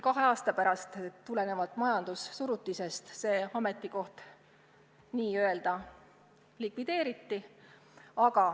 Kahe aasta pärast tulenevalt majandussurutisest see ametikoht küll likvideeriti.